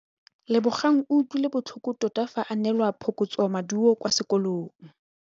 Lebogang o utlwile botlhoko tota fa a neelwa phokotsômaduô kwa sekolong.